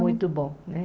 Muito bom, né?